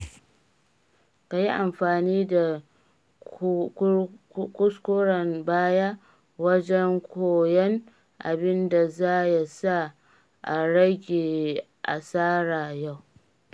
Ka yi amfani da kuskuren baya wajon koyan abin da za ya sa a rage asara yau.